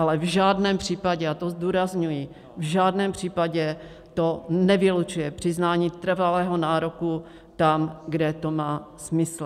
Ale v žádném případě, a to zdůrazňuji, v žádném případě to nevylučuje přiznání trvalého nároku tam, kde to má smysl.